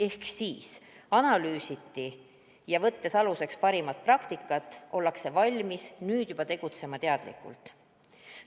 Ehk olukorda analüüsiti ja parimat praktikat aluseks võttes ollakse nüüd juba valmis tegutsema teadlikult.